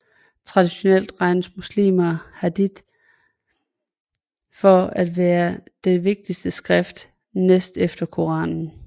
Traditionelt regner muslimer Hadith for at være det vigtigste skrift næst efter Koranen